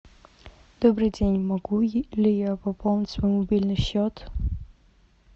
добрый день могу ли я пополнить свой мобильный счет